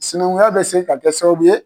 Sinankunya bɛ se ka kɛ sababu ye.